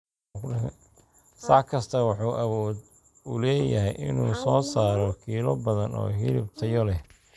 Sac kastaa wuxuu awood u leeyahay inuu soo saaro kiilo badan oo hilib tayo leh.